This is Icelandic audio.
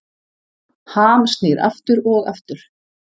Ham snýr aftur og aftur